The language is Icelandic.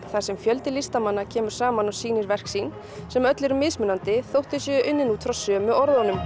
þar sem fjöldi listamanna kemur saman og sýnir verk sín sem öll eru mismunandi þótt þau séu unnin út frá sömu orðunum